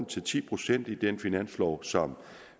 til ti procent i den finanslovaftale som